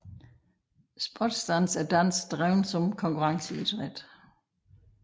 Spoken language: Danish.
Sportsdans er dans drevet som konkurrenceidræt